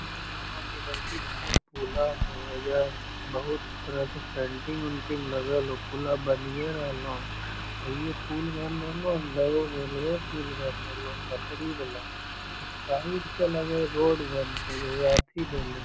लग रहलो की बड़की भाए इ पुला होअ एजा बहुत तरह के सेंटरिंग उटरिंग लागल होअ पुला बनिए रहलो ये हे इ जे पुल बन रहलो ये ने लगो हेय रेलवे पुल बन रहलो ये पटरी वाला साइड से लगे हेय रोड बनते एजा अथी देले हेय।